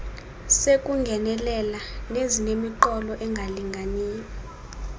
sekungenelela nezinemiqolo engalinganiyo